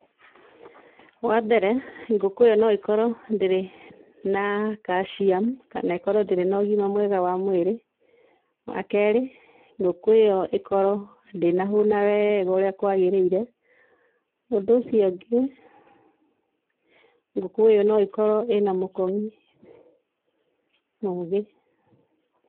Wambere, ngũkũ ĩyo no ĩkorwo ndĩrĩ na calcium kana ĩkorwo ndĩrĩ nogima mwega wa mwĩrĩ, wakerĩ ngũkũ ĩyo ĩkorwo ndĩnahũna wega ũrĩa kwagĩrĩire. Ũndũ ũcio ũngĩ, ngũkũ ĩyo no ĩkorwo ĩna mũkong'i mũgĩ.